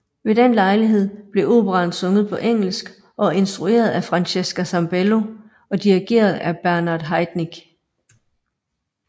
Ved den lejlighed blev operaen sunget på engelsk og instrueret af Francesca Zambello og dirigeret af Bernard Haitink